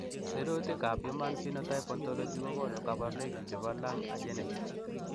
Sirutikab Human Phenotype Ontology kokonu koborunoikchu chebo Lung agenesis.